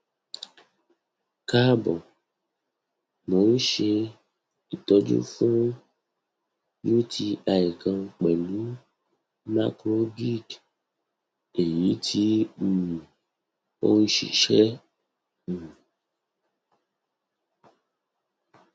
kaabo mo n ṣe itọju fun uti kan pẹlu macrobid eyiti um o n ṣiṣẹ um